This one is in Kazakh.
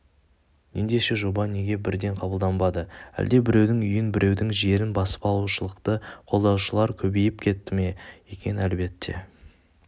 ендеше жоба неге бірден қабылданбады әлде біреудің үйін біреудің жерін басып алушылықты қолдаушылар көбейіп кетті ме екен әлбетте